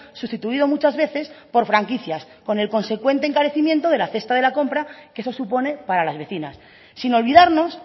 sustituido muchas veces por franquicias con el consecuente encarecimiento de la cesta de la compra que eso supone para las vecinas sin olvidarnos